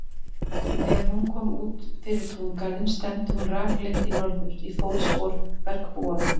Þegar hún kom út fyrir túngarðinn stefndi hún rakleitt í norður, í fótspor bergbúanna.